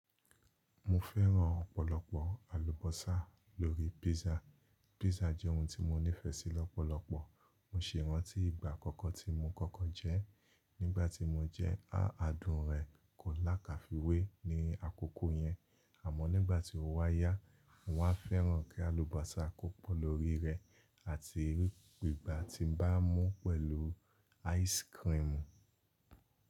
Mo fẹ́ràn ọ̀pọ̀lọpọ̀ àlùbọ́sà lórí pizza. Pizza jẹ́ oun tí mo nífẹ̀ẹ́ sí lọ́pọ̀lọpọ̀. Mo ṣì ràntí ìgbà àkọ́kọ́ tí mo kókó jẹ ẹ́. Nígbà tí mo jẹ ẹ́, adùn rẹ̀ kò lákàfiwé ní àkọ́kọ́ yẹn. Àmọ́ nígbà tí ó wáyá, mo wá fẹ́ràn kí àlùbọ́sà kó pọ̀ lórí rẹ̀, àti igba ti ñ bá mú pẹ̀lú áìsikirimù.